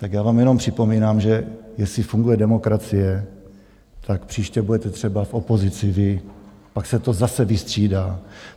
Tak já vám jenom připomínám, že jestli funguje demokracie, tak příště budete třeba v opozici vy, pak se to zase vystřídá.